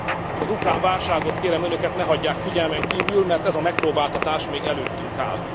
S az ukrán válságot, kérem Önöket, ne hagyják figyelmen kívül, mert ez a megpróbáltatás még előttünk